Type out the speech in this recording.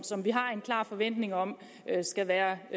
som vi har en klar forventning om skal være